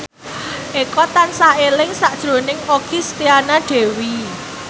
Eko tansah eling sakjroning Okky Setiana Dewi